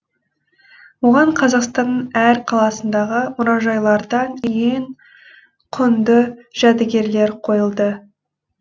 оған қазақстанның әр қаласындағы мұражайлардан ең құнды жәдігерлер қойылды